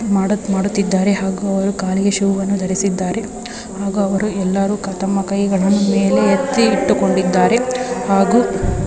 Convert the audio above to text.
ಮಾಡಕ್ ಮಾಡುತ್ತಿದ್ದಾರೆ ಹಾಗು ಕಾಲಿಗೆ ಶೂ ಅನು ಧರಿಸಿದ್ದಾರೆ ಹಾಗೂ ಅವರು ಎಲ್ಲರೂ ಅವರ ಕೈಗಳನ್ನು ಮೇಲೆ ಎತ್ತಿ ಇಟ್ಟಿಕೊಂಡಿದ್ದಾರೆ ಹಾಗು--